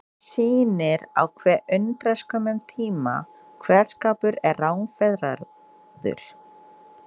Það sýnir á hve undraskömmum tíma kveðskapur er rangfeðraður.